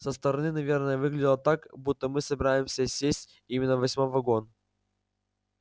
со стороны наверное выглядело так будто мы собираемся сесть именно в восьмой вагон